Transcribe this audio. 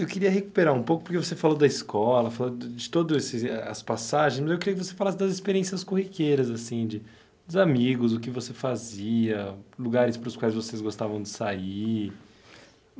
Eu queria recuperar um pouco, porque você falou da escola, falou de de todos esses eh as passagens, mas eu queria que você falasse das experiências corriqueiras, assim de dos amigos, o que você fazia, lugares para os quais vocês gostavam de sair.